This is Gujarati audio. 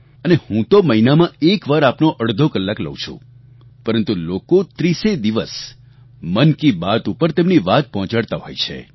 અને હું તો મહિનામાં એકવાર આપનો અડધો કલાક લઉ છું પરંતુ લોકો ત્રીસેય દિવસ મન કી બાત ઉપર તેમની વાત પહોંચાડતા હોય છે